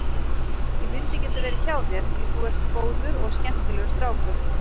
Ég vildi geta verið hjá þér því þú ert góður og skemmtilegur strákur.